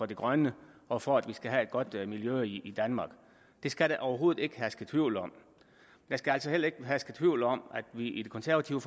det grønne og for at vi skal have et godt miljø i danmark det skal der overhovedet ikke herske tvivl om der skal heller ikke herske tvivl om at vi i det konservative